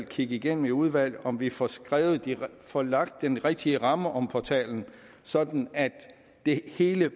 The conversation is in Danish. kigge igennem i udvalget om vi får får lagt den rigtige ramme om portalen sådan at det hele